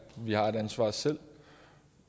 vi har et ansvar selv